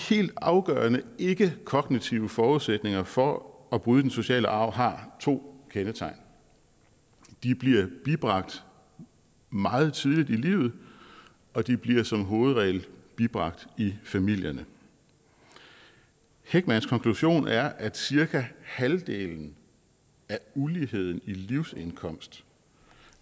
helt afgørende ikkekognitive forudsætninger for at bryde den negative sociale arv har to kendetegn de bliver bibragt meget tidligt i livet og de bliver som hovedregel bibragt i familierne heckmans konklusion er at cirka halvdelen af uligheden i livsindkomst